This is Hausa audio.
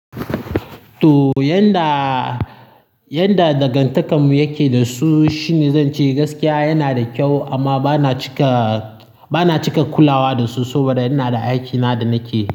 Toh yanda, yanda dagantakar mu yake da su shine zance gaskiya yana da kyau amma bana cika, bana cika kulawa da su saboda yana da aikina da nake.